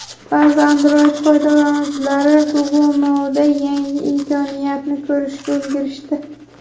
Ba’zi Android foydalanuvchilari Google Now’da yangi imkoniyatni ko‘rishga ulgurishdi.